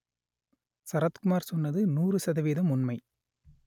சரத்குமார் சொன்னது நூறு சதவீதம் உண்மை